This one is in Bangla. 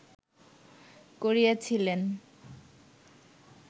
করিয়াছিলেন